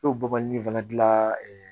E bɔbɔli in fana dilan